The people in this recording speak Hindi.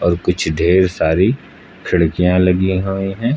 कुछ ढेर सारी खिड़कियां लगी हुई हैं।